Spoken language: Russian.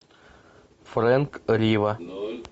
фрэнк рива